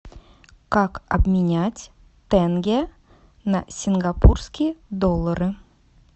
как обменять тенге на сингапурские доллары